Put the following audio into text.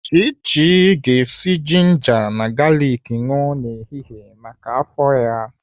Chichi ga-esi jinja na galiki aṅụ n'ehihie maka afọ ya.